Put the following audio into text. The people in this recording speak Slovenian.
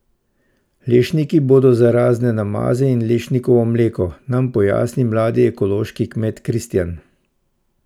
Lešniki bodo za razne namaze in lešnikovo mleko, nam pojasni mladi ekološki kmet Kristijan.